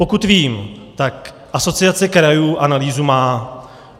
Pokud vím, tak Asociace krajů analýzu má.